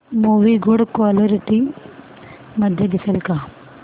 movie good quality मध्ये दिसेल का